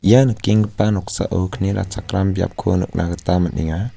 ia nikenggipa noksao kni ratchakram biapko nikna gita man·enga.